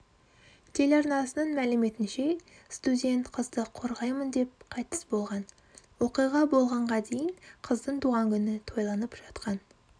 телеарнасының мәліметінше студент қызды қорғаймын деп қайтыс болған оқиға болғанға дейін қыздың туған күні тойланып жатқан